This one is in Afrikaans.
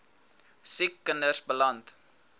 siek kinders beland